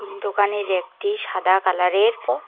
দোকানের একটি সাদা কালারের প--